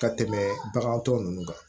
Ka tɛmɛ bagan tɔ ninnu kan